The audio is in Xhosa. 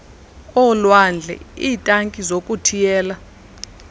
olwandle iitanki zokuthiyela